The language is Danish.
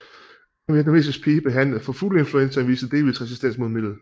En vietnamesisk pige behandlet for fugleinfluenzaen viste delvis resistens mod midlet